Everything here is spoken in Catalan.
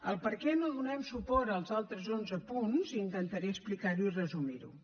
el perquè no donem suport als altres onze punts intentaré explicar ho i resumir ho